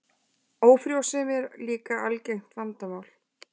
Ófrjósemi er líka algengt vandamál.